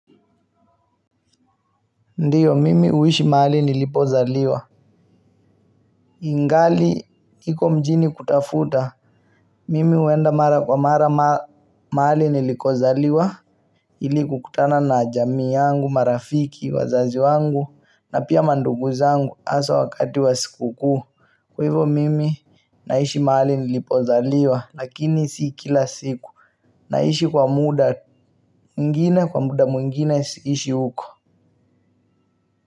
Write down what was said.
Ndiyo mimi uishi maali nilipozaliwa ingali hiko mjini kutafuta mimi uenda mara kwa mara maali niliko zaliwa ili kukutana na jami yangu marafiki wazazi wangu na pia mandugu zangu asa wakati wa siku kuu kwa hivo mimi naishi maali nilipozaliwa lakini sikila siku naishi kwa muda muingine kwa muda muingine siishi uko. Kwa hivyo.